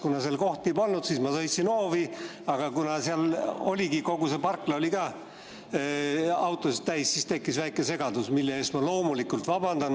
Kuna seal kohti polnud, siis ma sõitsin hoovi, aga kuna seal oli kogu parkla autosid täis, siis tekkis väike segadus, mille eest ma loomulikult vabandan.